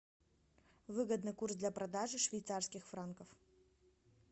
выгодный курс для продажи швейцарских франков